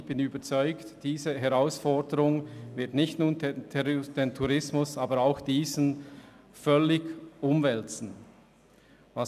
Ich bin überzeugt, dass diese Herausforderung nicht nur den Tourismus, aber auch diesen, völlig umwälzen wird.